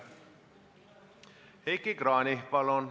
Heiki Kranich, palun!